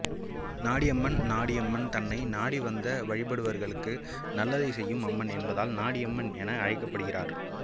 நாடிஅம்மன் நாடியம்மன் தன்னை நாடிவந்து வழிபடுபவர்களுக்கு நல்லதை செய்யும் அம்மன் என்பதால் நாடியம்மன் என அழைக்கப்படுகிறாள்